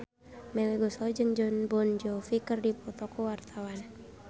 Melly Goeslaw jeung Jon Bon Jovi keur dipoto ku wartawan